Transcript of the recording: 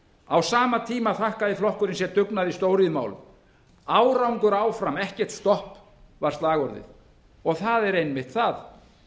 á sama tíma þakkaði flokkurinn sér dugnað í stóriðjumálum árangur áfram ekkert stopp var slagorðið og það er einmitt það